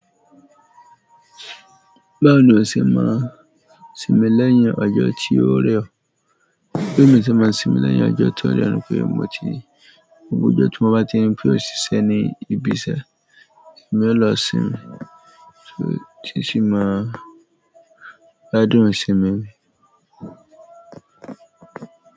Báwo ni o ṣe máa sinmi lẹ́yìn ọjọ tí ó rẹ̀ ọ́? Bí mo ti máa sinmi lẹ́yìn ọjọ́ tó rẹ̀ ni pé mo ti gbogbo ọjọ́ tí mo bá ti rí pé ò ṣì iṣẹ́ ni ibi iṣẹ́ emi ó lọ sinmi, ti n sí máa gbádùn sinmi mi.